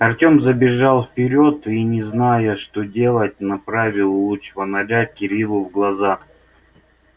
артем забежал вперёд и не зная что делать направил луч фонаря кириллу в глаза